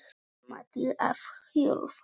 Mamma til að hjúfra.